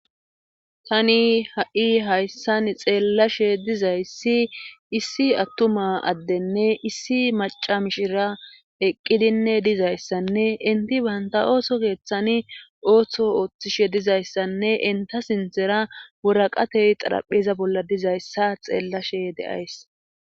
tani ha7i hayssan xeellashe dizayssi issi attuma addenne issi maca mishira eqqidinne dizayssanne inti baynta ooso keeththani ooththo ooththishe dizayssanne inta sinthera woraqatey xarapheza bolla dizayssa xeellashe de7ays